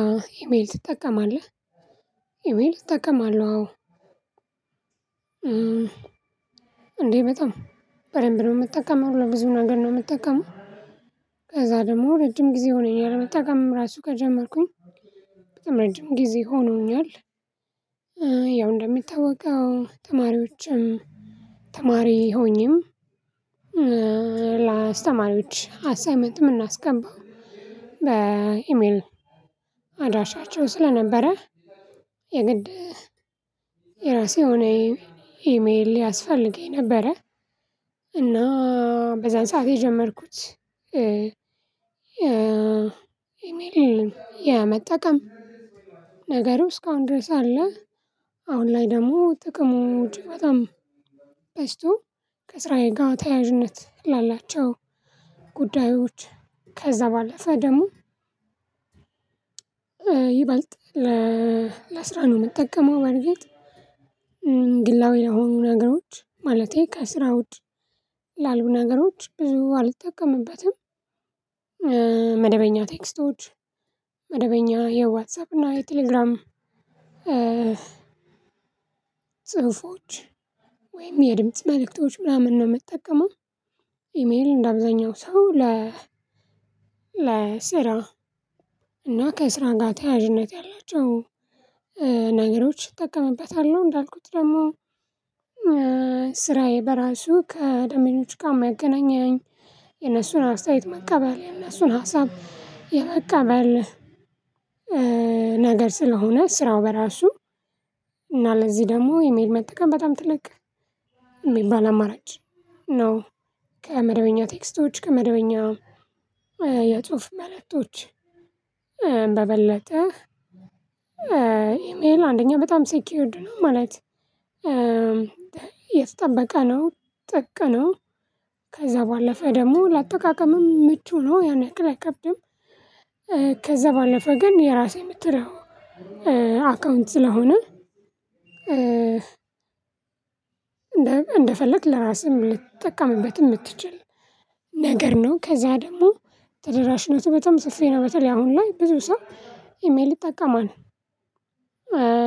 አዎ ኢሜል ትጠቀማለህ ኢሜል እጠቀማለሁ አዎ። እንዴ በጣም በደንብ ነው የምትጠቀመው ለብዙ ነገር ነው የምትጠቀመው። ከዛ ደግሞ ረጅም ጊዜ ሆነኝ መጠቀምም ራሱ ከጀመርኩኝ በጣም ረጅም ጊዜ ሆኖኛል። ያው እንደሚታወቀው ተማሪዎችም ተማሪ ሆኜም ለአስተማሪዎች አሳይመንት የምናስገባው በኢሜል አድራሻቸው ስለነበረ የግድ የራሴ የሆነ ኢሜል ሊያስፈልገኝ ነበረ። እና በዛን ሰዓት የጀመርኩት ኢሜል የመጠቀም ነገሩ እስካሁን ድረስ አለ። አሁን ላይ ደግሞ ጥቅሞቹ በጣም ተነስቶ ከስራዬ ጋር ተያያዥነት ላላቸው ጉዳዮች። ከዛ ባለፈ ደግሞ ይበልጥ ለስራ ነው የምጠቀመው በርግጥ ግላዊ ለሆኑ ነገሮች ማለቴ ከስራ ውጭ ላልቡ ነገሮች ብዙ አልጠቀምበትም። መደበኛ ቴክስቶች መደበኛ የዋትሳአፕ እና የቴሌግራም ጽሁፎች ወይም የድምጽ መልእክቶች ምናምን ነው የምጠቀመው። ኢሜል እንደ አብዛኛው ሰው ለ ለ ስራ እና ከስራ ጋር ተያያዥነት ያላቸው ነገሮች ይጠቀምበታል። እንዳልኩት ደግሞ ስራዬ በራሱ ከደንበኞች ጋር ሚያገናኘኝ የነሱን አስተያየት መቀበል የነሱን ሀሳብ የመቀበል ነገር ስለሆነ ስራው በራሱ እና ለዚህ ደግሞ ኢሜል መጠቀም በጣም ትለቅ የሚባል አማራጭ ነው። ከመደበኛ ቴክስቶች ከመደበኛ የጽሁፍ መለጦች በበለጠ ኢሜል አንደኛ በጣም ሴኪዩድ ነው ማለት የተጠበቀ ነው። ጠቅ ነው ከዛ ባለፈ ደግሞ ለአጠቃቀምም ምቹ ነው ያን ያክል አይከብድም። ከዛ ባለፈ ግን የራሴ የምትለው አካውንት ስለሆነ እንደፈለክ ለራስህም ልትጠቀምበት የምትችል ነገር ነው። ከዛ ደግሞ ተደራሽነቱ በጣም ጽፌ ነው በተለይ አሁን ላይ ብዙ ሰው ኢሜል ይጠቀማል።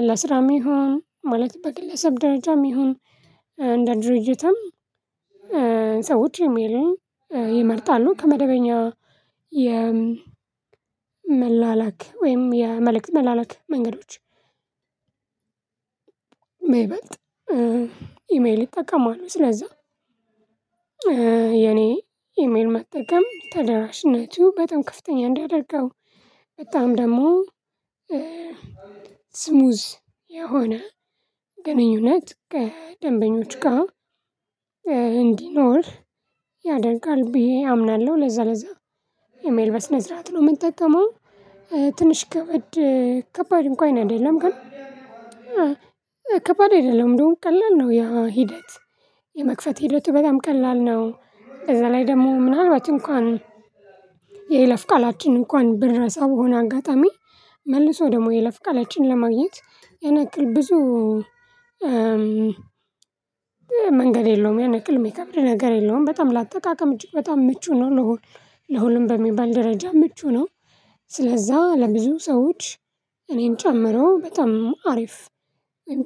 ለስራም ይሁን ማለት በግለሰብ ደረጃም ይሁን እንደ ድርጅትም ሰዎች የሚለውኝ ይመርጣሉ ከመደበኛ የመላላክ ወይም የመልእክት መላላክ መንገዶች የበይበልጥ ኢሜል ይጠቀማሉ። ስለዛ የኔ ኢሜል መጠቀም ተደራሽነቱ በጣም ከፍተኛ እንዲያደርገው በጣም ደግሞ ስሙዝ የሆነ ግንኙነት ከደንበኞች ጋር እንዲኖር ያደርጋል ብዬ አምናለሁ። ለዛ ለዛ ኢሜል በስነስርዓት ነው የምንጠቀመው ትንሽ ከበድ ከባድ እንኳን አይደለም ግን ከባድ አይደለም እንደውም ቀላል ነው። ያ ሂደት የመክፈት ሂደቱ በጣም ቀላል ነው። ከዛ ላይ ደግሞ ምናልባት እንኳን የይለፍ ቃላችን እንኳን ብረሳ በሆነ አጋጣሚ መልሶ ደግሞ የለፍ ቃላችንን ለማግኘት ያን ያክል ብዙ መንገድ የለውም የነገር የሚከብድ ነገር የለውም። በጣም ለአጠቃቀም እጅግ በጣም ምቹ ነው። ለሁሉም በሚባል ደረጃ ምቹ ነው። ስለዛ ለብዙ ሰዎች እኔን ጨምሮ በጣም አሪፍ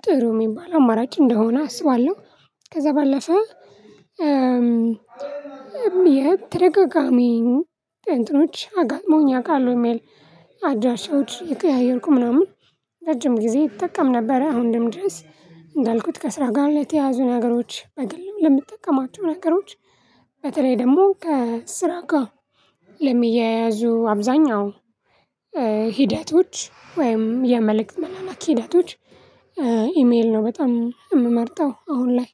ጥሩ የሚባል አማራጭ እንደሆነ አስባለሁ። ከዛ ባለፈ እም እም የት ደጋጋሚ እንትኖች አጋጥሞኛል ያወቃሉ ኢሜል አድራሻዎች እየቀያየርኩ ምናምን ረጅም ጊዜ ይጠቀም ነበር። አሁን ደም ድረስ እንዳልኩት ከስራ ጋር ለተያዙ ነገሮች በግልም ለምትጠቀማቸው ነገሮች በተለይ ደግሞ ከስራ ጋር ለሚያያዙ አብዛኛው ሂደቶች ወይም የመልእክት መላላኪ ሂደቶች ኢሜል ነው በጣም የምመርጠው። አሁን ላይ